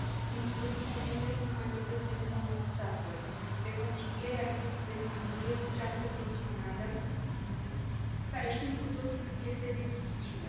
În plus, femeile se mai lovesc de încă un obstacol reconcilierea vieții de familie cu cea profesională, care știm cu toții cât este de dificilă.